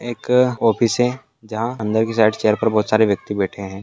एक ऑफिस है जहाँ अंदर के साइड चेयर पर बहोत सारे व्यक्ति बैठे है।